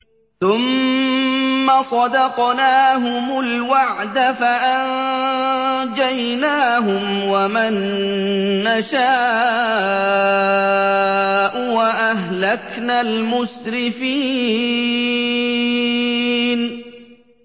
ثُمَّ صَدَقْنَاهُمُ الْوَعْدَ فَأَنجَيْنَاهُمْ وَمَن نَّشَاءُ وَأَهْلَكْنَا الْمُسْرِفِينَ